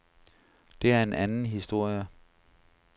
Det er en anden historie.